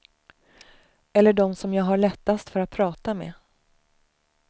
Eller dem som jag har lättast för att prata med.